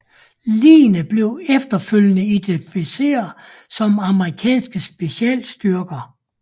Ligene bliver efterfølgende identificeret som amerikanske specialstyrker